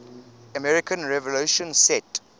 american revolution set